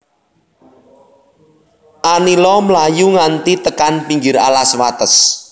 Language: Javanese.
Anila mlayu nganti tekan pinggir alas wates